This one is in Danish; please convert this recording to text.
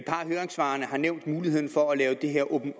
høringssvarene har nævnt muligheden for at gøre det her